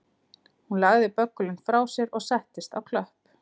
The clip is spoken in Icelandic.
Hún lagði böggulinn frá sér og settist á klöpp